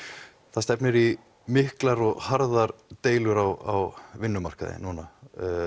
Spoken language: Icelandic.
það stefnir í miklar og harðar deilur á vinnumarkaði núna